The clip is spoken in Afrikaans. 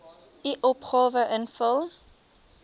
u opgawe invul